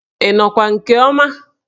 Ị nọkwa nke ọma?